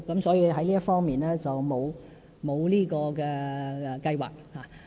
所以，在這方面並無相關計劃。